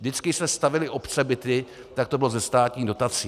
Vždycky když stavěly obce byty, tak to bylo se státní dotací.